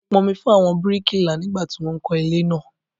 Mo pọn omi fún àwọn bíríkìlà nígbà tí wón ń kó ilé naa